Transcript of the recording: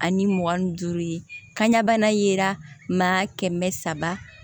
Ani mugan ni duuru ye kanɲana ye maa kɛmɛ saba